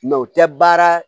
Mɛ o tɛ baara